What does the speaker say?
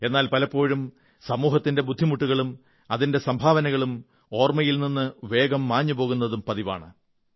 എന്നാൽ പലപ്പോഴും സമൂഹത്തിന്റെ ബുദ്ധിമുട്ടുകളും അതിന്റെ സംഭാവനകളും ഓർമ്മയിൽ നിന്ന് വേഗം മാഞ്ഞു പോകുന്നതും പതിവാണ്